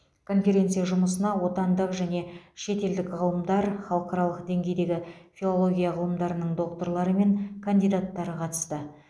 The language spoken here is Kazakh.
конференция жұмысына отандық және шетелдік ғалымдар халықаралық деңгейдегі филология ғылымдарының докторлары мен кандидаттары қатысты